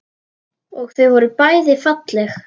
Og þau voru bæði falleg.